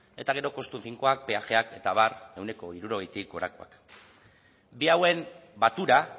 eta gero kostu finkoak peajeak eta abar ehuneko hirurogeitik gorakoak bi hauen batura